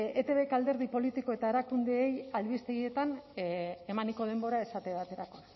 etbek alderdi politiko eta erakundeei albistegietan emaniko denborak esate baterako